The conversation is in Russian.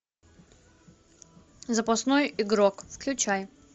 запасной игрок включай